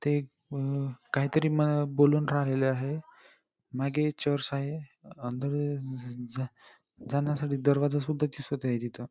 ते काहीतर बोलून राहिलेल आहे मागे चर्च आहे. अंदर जाण्यासाठी दरवाजा सुद्धा दिसत आहे तिथ.